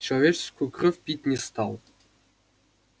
человеческую кровь пить не стал